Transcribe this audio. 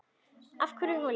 Hverja holu.